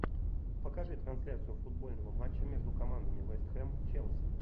покажи трансляцию футбольного матча между командами вест хэм челси